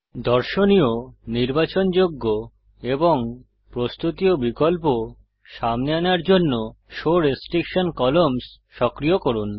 দর্শনীয় নির্বাচনযোগ্য এবং প্রস্তুতীয় বিকল্প সামনে আনার জন্য শো রেস্ট্রিকশন কলাম্নস সক্রিয় করুন